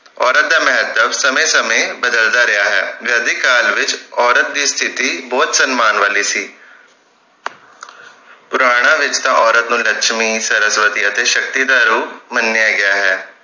ਔਰਤ ਦਾ ਮਹੱਤਵ ਸਮੇਂ ਸਮੇਂ ਬਦਲਦਾ ਰਿਹਾ ਹੈ ਵੈਦਿਕ ਕਾਲ ਵਿਚ ਔਰਤ ਦੀ ਸਤਿਥੀ ਬਹੁਤ ਸੰਮਾਨ ਵਾਲੀ ਸੀ ਪੁਰਾਣਾ ਵਿਰਸਾ ਔਰਤ ਨੂੰ ਲਕਸ਼ਮੀ ਸਰਸਵਤੀ ਅਤੇ ਸ਼ਕਤੀ ਦਾ ਰੂਪ ਮੰਨਿਆ ਗਿਆ ਹੈ